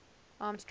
armstrong